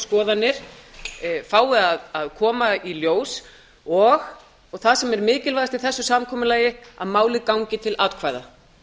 skoðanir fái að koma í ljós og það sem er mikilvægast í þessu samkomulagi að málið gangi til atkvæða